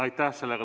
Aitäh!